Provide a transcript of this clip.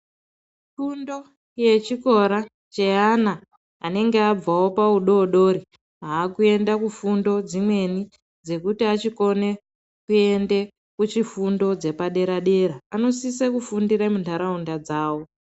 Fundo yechikora, cheana anenge abvawo paudoodori ,aakuende kufundo dzimweni, dzekuti achikona kuenda kuchifundo dzepadera-dera, anosisa kufundira muntharaunda dzawo.